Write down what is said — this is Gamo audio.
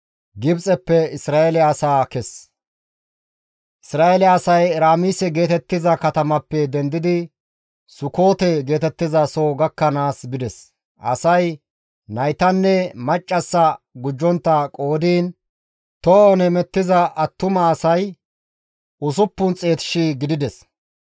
Isra7eele asay Eraamise geetettiza katamappe dendidi Sukoote geetettizaso gakkanaas bides. Asay naytanne maccassaa gujjontta qoodiin tohon hemettiza attuma asay 600,000 gidides.